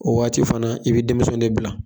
O waati fana i be denmisɛnw de bila